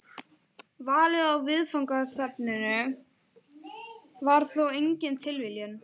Valið á viðfangsefninu var þó engin tilviljun.